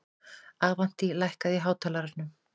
Avantí, lækkaðu í hátalaranum.